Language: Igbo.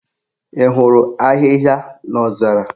Ị hụrụ ahịhịa n'ozara?